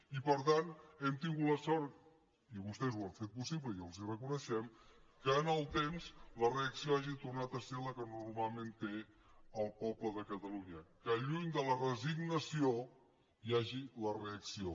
i per tant hem tingut la sort i vostès ho han fet possible i els ho reconeixem que en el temps la reacció hagi tornat a ser la que normalment té el poble de catalunya que lluny de la resignació hi hagi la reacció